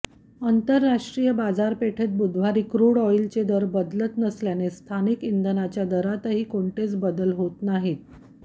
आंतरराष्ट्रीय बाजारपेठेत बुधवारी क्रूड ऑईलचे दर बदलत नसल्याने स्थानिक इंधनाच्या दरातही कोणतेच बदल होत नाहीत